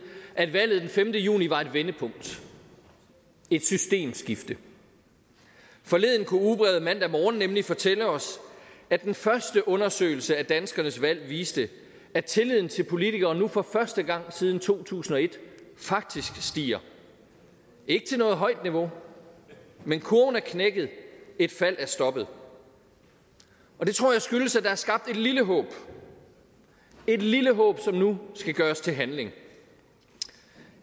at valget den femte juni var et vendepunkt et systemskifte forleden kunne ugebladet mandag morgen nemlig fortælle os at den første undersøgelse af danskernes valg viste at tilliden til politikere nu for første gang siden to tusind og et faktisk stiger ikke til noget højt niveau men kurven er knækket et fald er stoppet og det tror jeg skyldes at der er skabt et lille håb et lille håb som nu skal gøres til handling